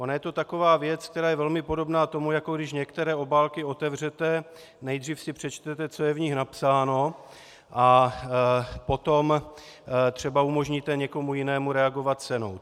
Ona je to taková věc, která je velmi podobná tomu, jako když některé obálky otevřete, nejdřív si přečtete, co je v nich napsáno, a potom třeba umožníte někomu jinému reagovat cenou.